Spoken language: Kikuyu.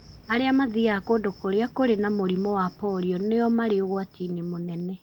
Arĩa mathiaga kũndũ kũrĩa kũrĩ na mũrimũ wa polio nĩo marĩ ũgwati-inĩ mũnene.